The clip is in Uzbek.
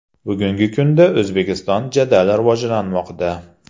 Bugungi kunda O‘zbekiston jadal rivojlanmoqda.